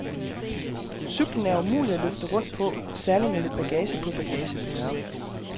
Cyklen er umulig at løfte rundt på, særlig med lidt bagage på bagagebæreren.